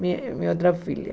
Mi minha outra filha.